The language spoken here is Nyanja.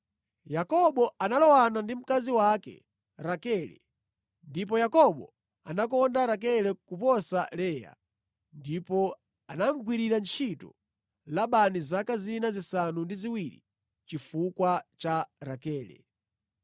Yakobo analowana ndi mkazi wake Rakele, ndipo Yakobo anakonda Rakele kuposa Leya. Ndipo anamugwirira ntchito Labani zaka zina zisanu ndi ziwiri chifukwa cha Rakele.